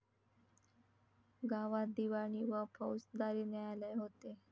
गावात दिवाणी व फौजदारी न्यायालय होते.